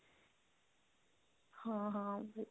ਹਾਂ ਹਾਂ